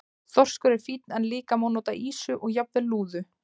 Þorskur er fínn en líka má nota ýsu og jafnvel lúðu.